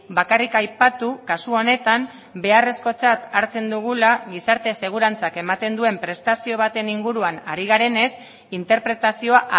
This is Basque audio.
bakarrik aipatu kasu honetan beharrezkotzat hartzen dugula gizarte segurantzak ematen duen prestazio baten inguruan ari garenez interpretazioa